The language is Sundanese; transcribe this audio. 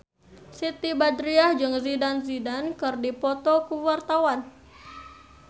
Siti Badriah jeung Zidane Zidane keur dipoto ku wartawan